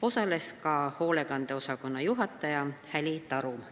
Osales ka hoolekande osakonna juhataja Häli Tarum.